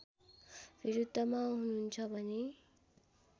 विरुद्धमा हुनुन्छ भने